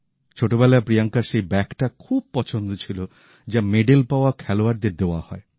ছোটবেলায় প্রিয়াঙ্কার সেই ব্যাগটা খুব পছন্দ ছিল যা মেডেল পাওয়া খেলোয়াড়দের দেওয়া হয়